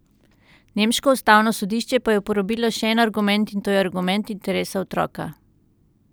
Nemško ustavno sodišče pa je uporabilo še en argument, in to je argument interesa otroka.